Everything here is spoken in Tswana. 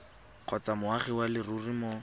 kgotsa moagi wa leruri mo